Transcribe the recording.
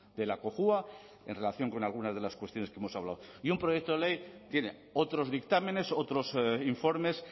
de la cojua en relación con algunas de las cuestiones que hemos hablado y un proyecto ley tiene otros dictámenes otros informes